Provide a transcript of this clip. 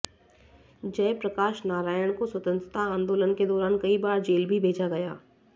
जय प्रकाश नारायण को स्वतंत्रता आंदोलन के दौरान कई बार जेल भी भेजा गया